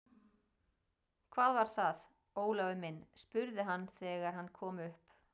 Hvað var það, Ólafur minn? spurði hann þegar hann kom upp.